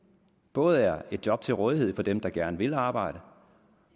både er et job til rådighed for dem der gerne vil arbejde